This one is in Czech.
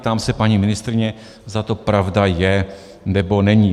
Ptám se paní ministryně, zda to pravda je, nebo není.